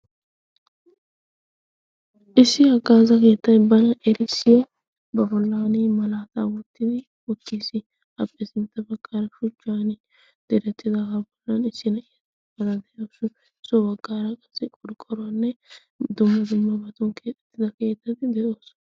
issi a gaaza keettay bana erisiya bafolaani malaataa wuttidi uttiis. aphphe sinttafakkaara shujjan deerattida kaafolan issi na'ia badan de'ausu isso waggaaraa qassi qorqqoruwaanne dumma dumma batun keexxettida keettaddi de'oosona.